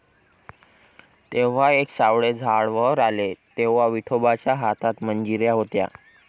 तेव्हा एक सावळे झाड वर आले, तेव्हा विठोबाच्या हातात मंजिऱ्या होत्या.